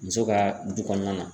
Muso ka du kɔnɔna na.